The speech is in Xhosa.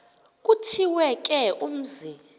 kuthiwe ke umzi